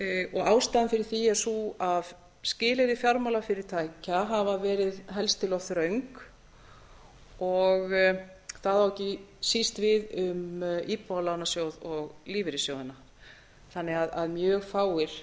og ástæðan fyrir því er sú að skilyrði fjármálafyrirtækja hafa verið helst til of þröng og það á ekki síst við um íbúðalánasjóð og lífeyrissjóðina þannig að mjög fáir